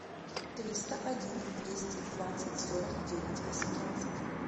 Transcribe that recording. триста один двести двадцать сорок девять восемнадцать